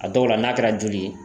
A dɔw la n'a kɛra joli ye